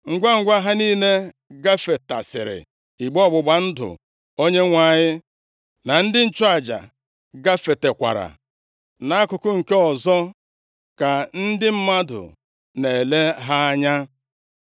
Ngwangwa ha niile gafetasịrị, igbe ọgbụgba ndụ Onyenwe anyị na ndị nchụaja gafetakwara nʼakụkụ nke ọzọ, ka ndị mmadụ na-ele ha anya.